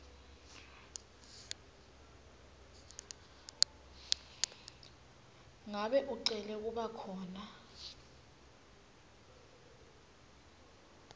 ngabe ucele kubakhona